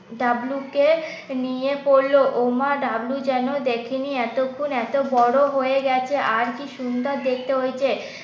W কে নিয়ে পড়লো। ওমা ডাবলু যেনো দেখেনি এতক্ষণ। এত বড় হয়ে গেছে আর কি সুন্দর দেখতে হয়েছে